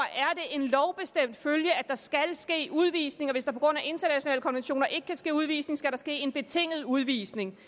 en lovbestemt følge at der skal ske udvisninger hvis der på grund af internationale konventioner ikke kan ske udvisning skal der ske en betinget udvisning